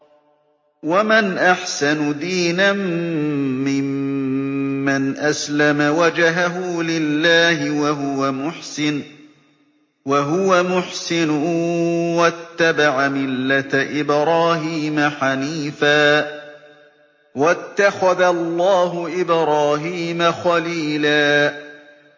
وَمَنْ أَحْسَنُ دِينًا مِّمَّنْ أَسْلَمَ وَجْهَهُ لِلَّهِ وَهُوَ مُحْسِنٌ وَاتَّبَعَ مِلَّةَ إِبْرَاهِيمَ حَنِيفًا ۗ وَاتَّخَذَ اللَّهُ إِبْرَاهِيمَ خَلِيلًا